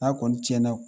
N'a kɔni cɛn na